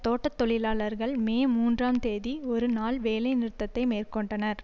தோட்ட தொழிலாளர்கள் மே மூன்றாம் தேதி ஒரு நாள் வேலை நிறுத்தத்தை மேற்கொண்டனர்